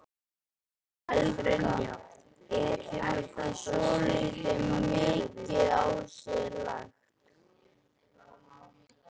Helga: Er ekki svolítið mikið á sig lagt?